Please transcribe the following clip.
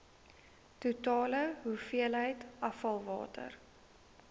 totale hoeveelheid afvalwater